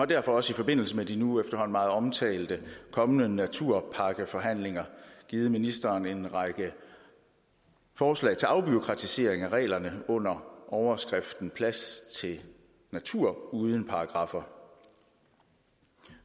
derfor også i forbindelse med de nu efterhånden meget omtalte kommende naturpakkeforhandlinger givet ministeren en række forslag til afbureaukratisering af reglerne under overskriften plads til natur uden paragraffer